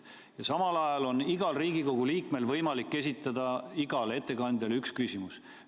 Ja samal ajal on igal Riigikogu liikmel võimalik esitada igale ettekandjale üks küsimus.